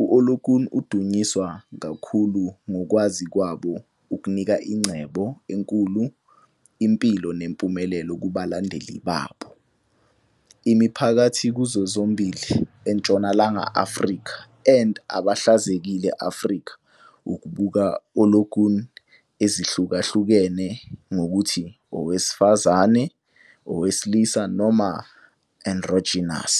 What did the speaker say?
U-Olokun udunyiswa kakhulu ngokukwazi kwabo ukunika ingcebo enkulu, impilo nempumelelo kubalandeli babo. Imiphakathi kuzo zombili eNtshonalanga Afrika and abaHlakazekile Afrika ukubuka Olokun ezihlukahlukene ngokuthi owesifazane, owesilisa noma androgynous.